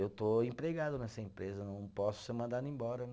Eu estou empregado nessa empresa, não posso ser mandado embora, né?